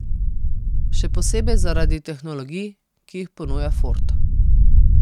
Še posebej zaradi tehnologij, ki jih ponuja Ford.